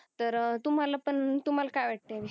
तर तुम्हाला पण तुम्हाला काय वाटत या विषयी